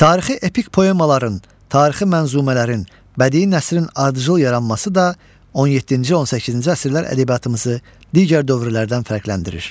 Tarixi epik poemaların, tarixi mənzumələrin, bədii nəzmin ardıcıl yaranması da 17-ci, 18-ci əsrlər ədəbiyyatımızı digər dövrlərdən fərqləndirir.